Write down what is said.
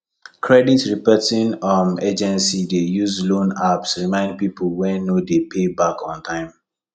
credit reporting um agency dey use loan apps remind people wey no dey pay back on time